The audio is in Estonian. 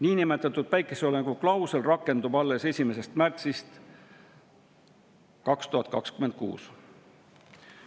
Niinimetatud päikeseloojanguklausel rakendub alles 1. märtsist 2026.